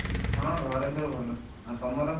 ହଁ, ଘରେ ସବୁ ଭଲ ଆଉ ତମର?